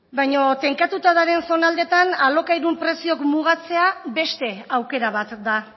baina tenkatuta daren zonaldetan alokairun preziok mugatzea beste aukera bat da